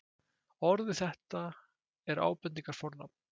orðið þetta er ábendingarfornafn